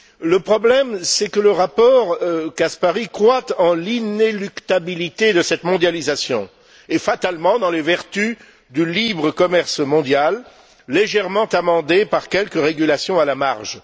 Le problème, c'est que le rapport Caspary croit en l'inéluctabilité de cette mondialisation et, fatalement, dans les vertus du libre commerce mondial, légèrement amendé par quelque régulation à la marge.